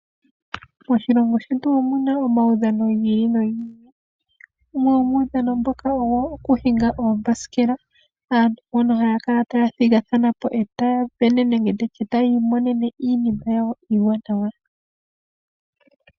Moshilongo shetu omuna omaudhano giili nogili, unwe womuudhano mbuka okuhinga uuthanguthangu . Aantu mbano ohaya thigathana etaya sindana nenge yiimonene iinima yawo iiwanawa.